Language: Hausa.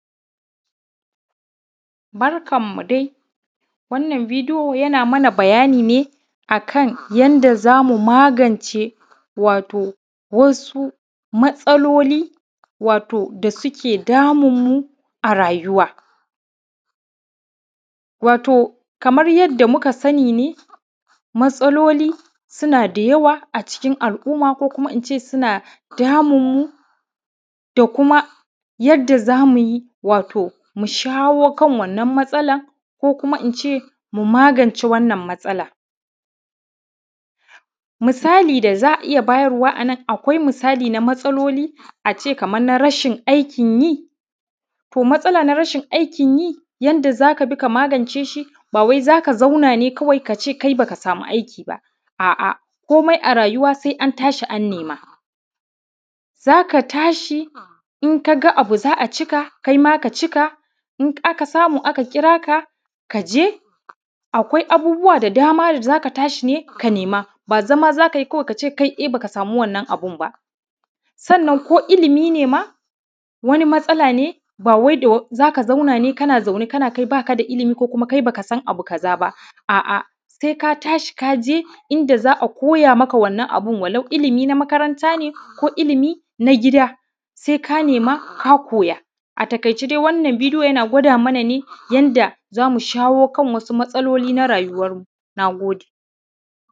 Barkanmu dai. Wannan bidiyo ya na mana bayani akan yanda zamu magance wato wasu matasaloli wato suke damunumu a rayuwa. Wato kaman yanda muka sani matasaloli su na damunumu matasaloli su na da yawa a cikin al'umma su na damunumu da ko kuma yanda za mu shawo kan wannan matasalan ko kuma in ce magance matasalan misali da za iya bayarwa a nan, akwai misali matasaloli a ce kaman na aikin yi to matasala na aikin yi yadda za ka bi ka magance shi ba za ka zauna ne ka ce kawai ba ka sama aiki ba, a’a kuma a rayuwa sai an nema. Za ka tashi in ka ga abu ka cika in ka samu kaima ka cika ka je akwai abubuwa da dama da za ka tashi ne ka nema ba zama za ka yi kai tsaye ka ce ba ka sama wannan abin ba sannan ko ilimi ne ma, wani matasala ne ba wai za ka zauna ne kai ba ka da ilimi ne ba, kuma kai ba ka san abu kaza ba, a’a sai ka tashi ka ji inda za'a kuma ya yi maka wannan abun walau ilimi na makaranta ne ko ilimi na gida, sai ka nema a taƙaice wannan bidiyo yana nuna mana ne yanda za mu shawo kan suka matasaloli na rayuwanmu na gode.